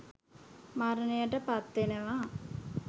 මරණයට පත් වෙනවා.